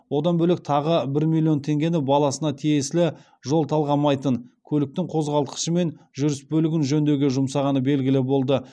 одан бөлек тағы бір миллион теңгені баласына тиесілі жол талғамайтын көліктің қозғалтқышы мен жүріс бөлігін жөндеуге жұмсағаны белгілі болды